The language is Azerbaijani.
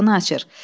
qapını açır.